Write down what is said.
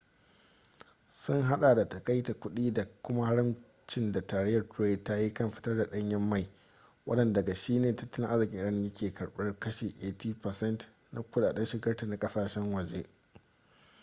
sun hada da takaita kudi da kuma haramcin da tarayyar turai ta yi kan fitar da danyen mai wanda daga shi ne tattalin arzikin iran yake karbar kashi 80% na kudaden shigarta na kasashen waje